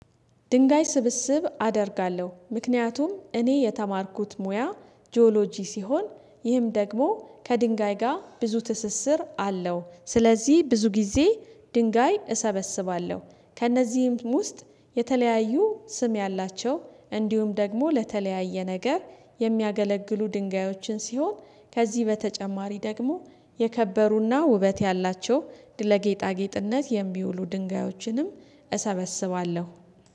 ድንጋይ ስብስብ አደርጋለሁ ምክንያቱም እኔ የተማርኩት ሙያ ጂኦሎጂ ሲሆን ይህም ደግሞ ከድንጋይ ጋር ብዙ ትስስር አለው። ስለዚህ ብዙ ጊዜ ድንጋይ እሰበስባለሁ ከእነዚህም ውስጥ የተለያዩ ስም ያላቸው እንዲሁም ደግሞ ለተለያየ ነገር የሚያገለግሉ ድንጋዮችን ሲሆን ከዚህ በተጨማሪ ደግሞ የከበሩና ውበት ያላቸው ለጌጣጌጥነት የሚውሉ ድንጋዮችንም እሰበስባለሁ